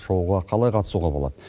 шоуға қалай қатысуға болады